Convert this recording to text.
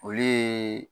Olu ye